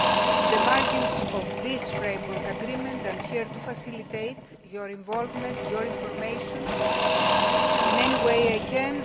In the margins of this framework agreement, I am here to facilitate your involvement and your information in any way I can.